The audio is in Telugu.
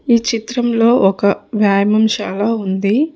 ఈ చిత్రంలో ఒక వ్యాయామం శాల ఉంది.